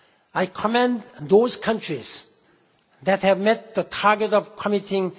I commend those countries which have met the target of committing